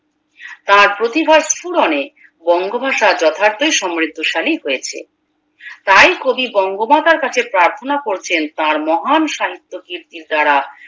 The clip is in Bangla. তার প্রতিভার স্ফুরণে বঙ্গভাষা যথার্থ সমৃদ্ধশালী হয়েছে তাই কবি বঙ্গমাতার কাছে প্রার্থনা করছেন তার মহান সাহিত্য কীর্তির দ্বারা